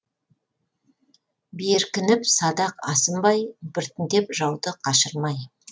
беркініп садақ асынбай біртіндеп жауды қашырмай